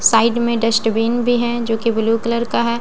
side में dustbin बी हैं जो की ब्लू कलर का हैं --